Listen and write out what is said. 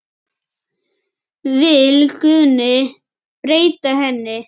Vill Guðni breyta henni?